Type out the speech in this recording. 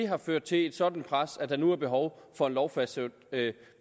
har ført til et sådant pres at der nu er behov for en lovfastsat